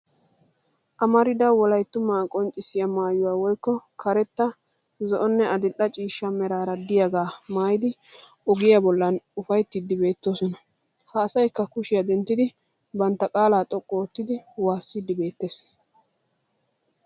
Amarida wolayttumaa qonccissiya maayuwaa woykko karetta zo'onne adil'e cishcha meraara diyagaa maayidi ogiya bollan ufayttiiddi beettoosona. Ha asayikka kushiya denttidi bantta qaalay xoqqu ottidi waasiddi beettes.